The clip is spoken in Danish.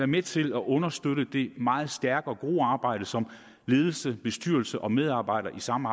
med til at understøtte det meget stærke og gode arbejde som ledelse bestyrelse og medarbejdere sammen